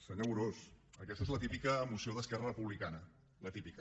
senyor amorós aquesta és la típica moció d’esquerra republicana la típica